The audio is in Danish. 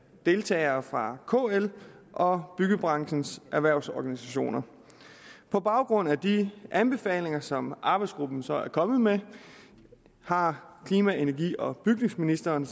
deltagere fra kl og byggebranchens erhvervsorganisationer på baggrund af de anbefalinger som arbejdsgruppen så er kommet med har klima energi og bygningsministeren